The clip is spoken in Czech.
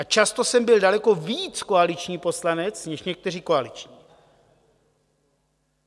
A často jsem byl daleko víc koaliční poslanec než někteří koaliční.